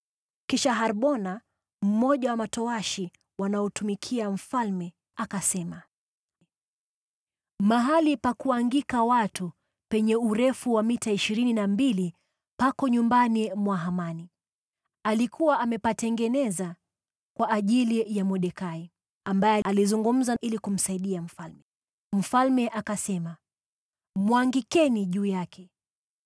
Kisha Harbona, mmoja wa matowashi wanaomtumikia mfalme, akasema, “Mahali pa kuangika watu penye urefu wa mita ishirini na mbili pako nyumbani mwa Hamani. Alikuwa amepatengeneza kwa ajili ya Mordekai, ambaye alizungumza ili kumsaidia mfalme.” Mfalme akasema, “Mwangikeni juu yake!”